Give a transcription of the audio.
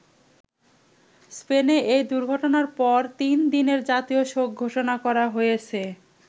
স্পেনে এই দুর্ঘটনার পর তিন দিনের জাতীয় শোক ঘোষণা করা হয়েছে।